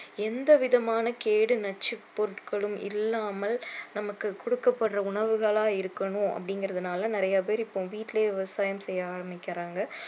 எந்த விதமான கேடு நச்சு பொருட்களும் இல்லாமல் நமக்கு கொடுக்கப்படுற உணவுகளா இருக்கணும் அப்படிங்கிறதுனால நிறைய பேர் இப்போ வீட்டுலயே விவசாயம் செய்ய ஆரம்பிக்கறாங்க